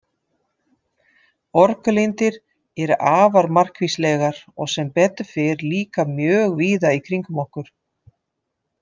Orkulindir eru afar margvíslegar og sem betur fer líka mjög víða í kringum okkur.